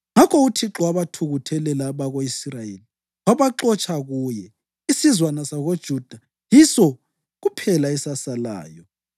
Ngakho uThixo wabathukuthelela abako-Israyeli wabaxotsha kuye. Isizwana sakoJuda yiso kuphela esasalayo,